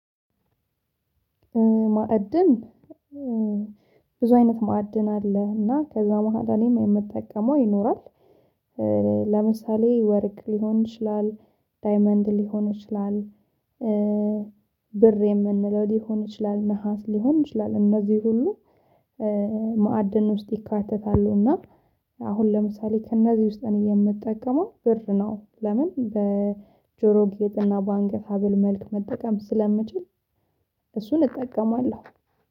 ማዕድን ብዙ አይነት ማዕድን አለ እና ከዛ መሃል እኔም የምጠቀመው ይኖራል። ለምሳሌ ወርቅ ሊሆን ይችላል ዳይመንድ ሊሆን ይችላል። ብር የምንለው ሊሆን ይችላል ነሃስ ሊሆን ይችላል እነዚህ ሁሉ ማዕድን ውስጥ ይካተታሉ። እና አሁን ለምሳሌ ከእነዚህ ውስጥ እኔ የምጠቀመው ብር ነው። ለምን በጆሮ ጌጥ እና በአንገት ሀብል መልክ መጠቀም ስለምችል እጠቀማለሁ